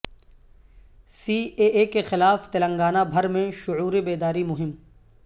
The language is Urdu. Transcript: سی اے اے کے خلاف تلنگانہ بھر میں شعور بیداری مہم